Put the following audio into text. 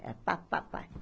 Era pá, pá, pá.